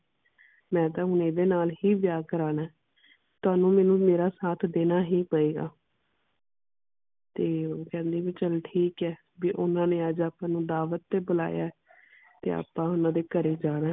ਮੈਂ ਤਾ ਹੁਣ ਏਦੇ ਨਾਲ ਹੀ ਵਿਆਹ ਕਰਾਨਾ ਤੁਹਾਨੂੰ ਮੈਨੂੰ ਮੇਰਾ ਸਾਥ ਦੇਣਾ ਹੀ ਪਏਗਾ ਤੇ ਉਹ ਵੀ ਕਹਿੰਦੀ ਚਲ ਠੀਕ ਹੈ ਵੀ ਓਹਨਾ ਨੇ ਅੱਜ ਅੱਪਾ ਨੂੰ ਦਾਵਤ ਬੁਲਾਇਆ ਤੇ ਅੱਪਾ ਓਹਨਾ ਦੇ ਘਰੇ ਜਾਣਾ